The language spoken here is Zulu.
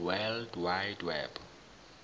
world wide web